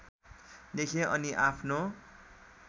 लेखेँ अनि आफ्नो